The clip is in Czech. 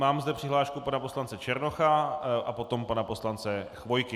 Mám zde přihlášku pana poslance Černocha a potom pana poslance Chvojky.